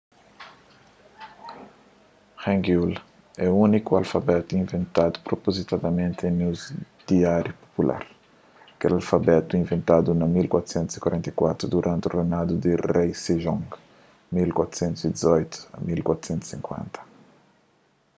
hangeul é úniku alfabetu inventadu propozitadamenti en uzu diáriu popular. kel alfabetu inventadu na 1444 duranti reinadu di rei sejong 1418 - 1450